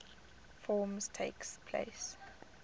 forms takes place